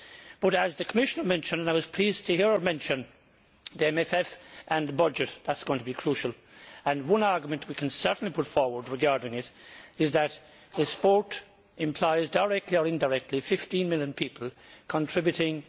But as the Commissioner mentioned and I was pleased to hear her mention it the MFF and the budget are going to be crucial. One argument we can certainly put forward in this context is that sport implies, directly or indirectly, 15 million people contributing